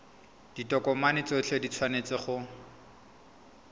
ditokomane tsotlhe di tshwanetse go